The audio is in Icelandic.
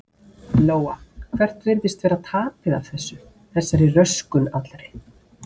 Lóa: Hvert virðist vera tapið af þessu, þessari röskun allri?